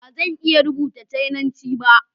Ba zan iya rubuta Cananci ba.